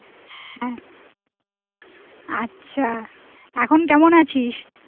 আচ্ছা এখন কেমন আছিস?